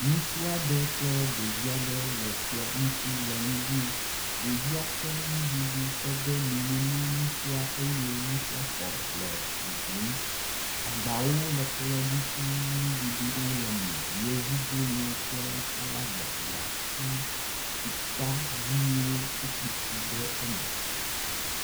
Ŋutsu aɖe kple ɖevi aɖe wo le kplɔ ŋutsi le nu ɖum. Ɖevia ke nuɖuɖu kɔ de nume na ŋutsusa eye ŋutsua xɔ le ɖuɖuɖm. Agbawo le kplɔ dzi fuu nuɖuɖuwo le eme. Yevubolo kple salada gatsi, tukpaviwo woku tsi le eme.